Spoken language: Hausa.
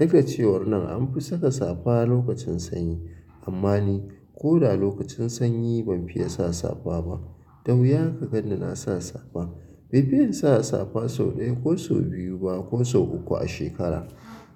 Nake cewar nan anfi saka safa lokacin sanyi amma ni kuh da lokacin sanyi banfiya sa safa ba da wuya ka ganni na sa safa befi insa safa sau daya kuh sau biyu ba kuh sau uku a shekara.